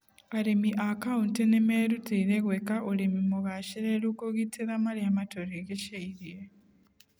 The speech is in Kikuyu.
Arĩmi a kauntĩ nĩmeruteire gwĩka ũrĩmi mũgacereru kũgitĩra maria matũrigeceirie